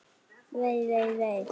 Vei, vei, vei.